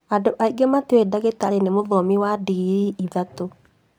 Andũ angĩ matiũĩ ndagitarĩ nĩ mũthomi wa ndingirii ithatũ